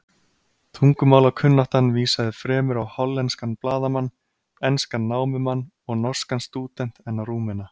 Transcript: Tungumálakunnáttan vísaði fremur á hollenskan blaðamann, enskan námumann og norskan stúdent en á Rúmena.